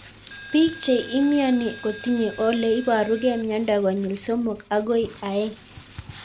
Pik che imiani kotinye ole iparukei miondo konyil somok akoi aeng'